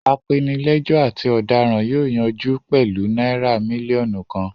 Apenilẹ́jọ́ àti ọ̀daràn yóò yanjú pẹ̀lú náírà mílíọ̀nù kan.